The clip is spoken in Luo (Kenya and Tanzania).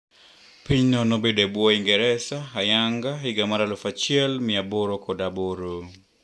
Pinyno nobedo e bwo Uingereza ayanga higa mar aluf achiel mia aboro kod aboro.